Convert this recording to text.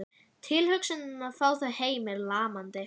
Tilhugsunin að fá þau heim er lamandi.